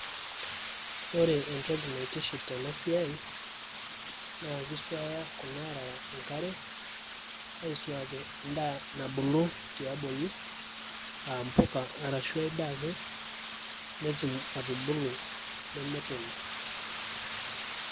ore entoki naitiship tena siai naa kisuaya kuna arara enkare aisuaki endaa nabulu tiabori aa mpuka arashu ay daa ake netum atubulu nemetoyu.